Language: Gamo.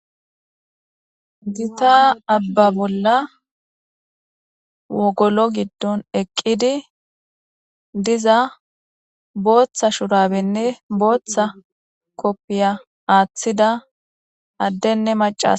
gita abba bolla wogolo giddon eqqidi diza booththa shurabenne booththa koppiya aaththida addenne maca